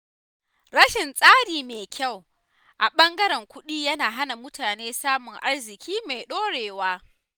Rashin tsari mai kyau a ɓangaren kuɗi yana hana mutane samun arziƙi mai ɗorewa.